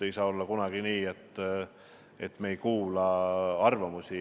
Ei saa olla kunagi olla nii, et me ei kuula valdkonna spetsialistide arvamusi.